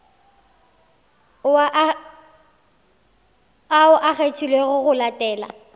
ao a kgethilwego go latela